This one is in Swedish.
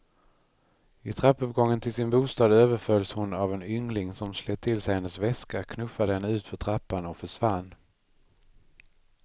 I trappuppgången till sin bostad överfölls hon av en yngling som slet till sig hennes väska, knuffade henne utför trappan och försvann.